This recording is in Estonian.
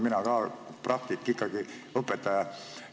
Mina olen ka praktik, ikkagi õpetaja.